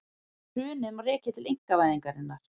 Hrunið má rekja til einkavæðingarinnar